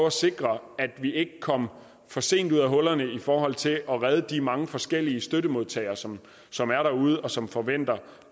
at sikre at vi ikke kom for sent ud af hullerne i forhold til at redde de mange forskellige støttemodtagere som som er derude og som forventer